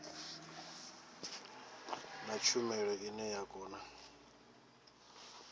na tshumelo ine ya kona